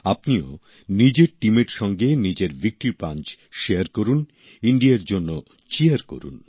আপনিও নিজের টিমের সঙ্গে নিজের ভিক্টরি পাঞ্চ শেয়ার করুন ইণ্ডিয়ার জন্য চীয়ার করুন